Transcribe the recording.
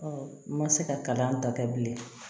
n ma se ka kalan ta kɛ bilen